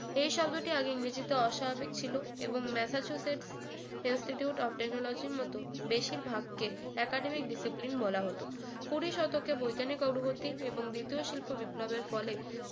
এই শব্দটির আগে ইংরেজিতে অস্বাভাবিক ছিল এবং massachusetts institute of technology র মত বেশিরভাগকে academic disipline বলা হোত কুড়ি শতকে বৈজ্ঞানিক অগ্রগতি এবং দ্বিতীয় শিল্প বিপ্লবের ফলে